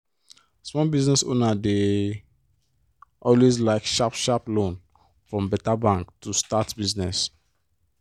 small business owner dey always like sharp-sharp loan from beta bank to start business.